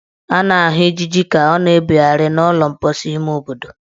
A na-ahụ ijiji ka ọ na-ebegharị n' ụlọ mposi ime obodo.